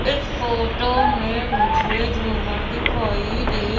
इस फोटो में मुझे झूमर दिखाई दे--